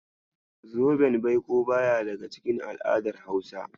Zoben baiko baya daga cikin al'adar Hausa.